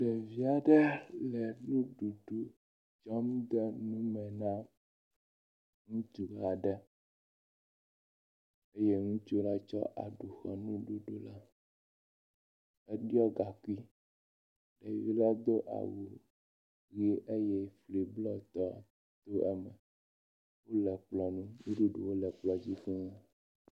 Ɖevi aɖe le nuɖuɖu kɔm de nu me na ŋutsu aɖe eye ŋutsu la tsɔ aɖu xɔ nuɖuɖu la, eɖɔ gaŋkui, ŋutsu la do awu eye…nuɖuɖu le kplɔ dzi fuu.